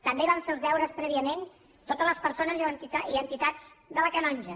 també van fer els deures prèviament totes les persones i entitats de la canonja